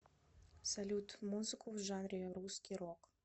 салют музыку в жанре русский рок